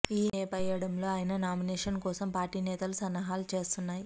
ఈ నేపాయడంలో ఆయన నామినేషన్ కోసం పార్టీ నేతలు సన్నాహాలు చేస్తున్నాయి